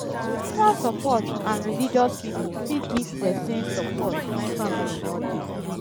spiritual support and religious pipo fit give person support when family no dey